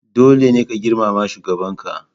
Dole ne ka girmama shugabanka!